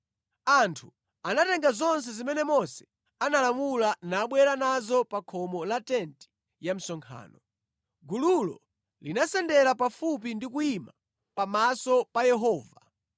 Anthu anatenga zonse zimene Mose analamula nabwera nazo pa khomo la tenti ya msonkhano. Gululo linasendera pafupi ndi kuyima pamaso pa Yehova.